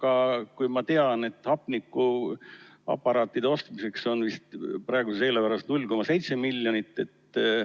Aga ma tean, et hapnikuaparaatide ostmiseks on vist praeguses eelarves 0,7 miljonit eurot.